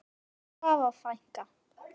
Elsku Svava frænka.